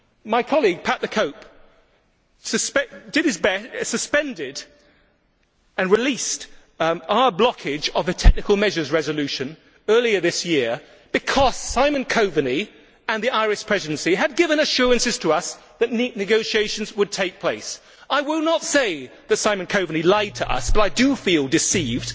My colleague Pat the Cope Gallagher suspended and released our blockage of the technical measures resolution earlier this year because Simon Coveney and the Irish Presidency had given us assurances that negotiations would take place. I will not say that Simon Coveney lied to us, but I do feel deceived.